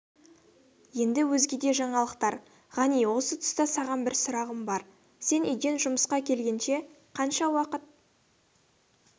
енді өзгеде жаңалықтар ғани осы тұста саған бір сұрағым бар сен үйден жұмысқа келгенше қанша уақыт